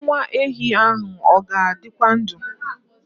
Nwa ehi a ọ ga-adịkwa ndụ?